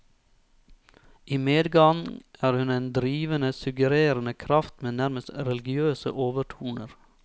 I medgang er hun en drivende, suggererende kraft med nærmest religiøse overtoner.